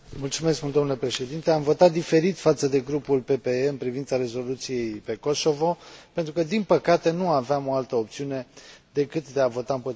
Am votat diferit față de Grupul PPE în privința rezoluției referitoare la Kosovo, pentru că, din păcate, nu aveam o altă opțiune decât de a vota împotriva acestui text.